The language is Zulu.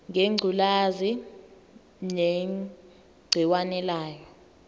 ngengculazi negciwane layo